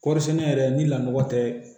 Kɔɔri sɛnɛ yɛrɛ ni lakɔ tɛ